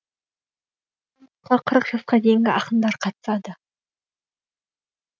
қырық жасқа дейінгі ақындар қатысады